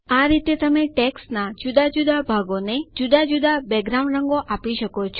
આ રીતે તમે ટેક્સ્ટનાં જુદા જુદા ભાગોને જુદા જુદા બેકગ્રાઉન્ડ રંગો આપી શકો છો